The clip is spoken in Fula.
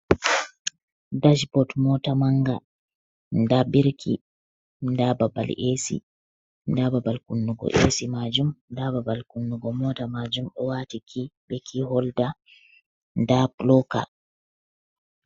Ɗash ɓot mota manga. Nɗa ɓirki. Nɗa ɓaɓal esi. Nɗa ɓaɓal kunnugo esi. Nɗa ɓaɓal kunnugo mota majum. O wati ki, ɓe ki holɗa nɗa puloka.